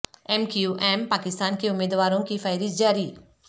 M Q M Pakistan کے امیدواروں کی فہرست جاری